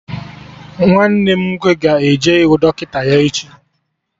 Nwanne m nwoke ga-eje ịhụ dọkịta ya echi